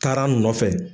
Kara nɔfɛ